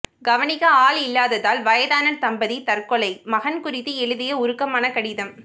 கவனிக்க ஆள் இல்லாததால் வயதான தம்பதி தற்கொலை மகன் குறித்து எழுதிய உருக்கமான கடிதம்